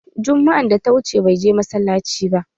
Jumma'an da ta wuce, bai je masallaci ba.